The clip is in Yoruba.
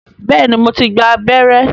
Bẹ́ẹ̀ni, mo ti gba abẹ́rẹ́